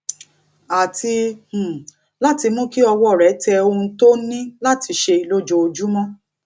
àti um láti mú kí ọwó rè tẹ ohun tó ní láti ṣe lójoojúmó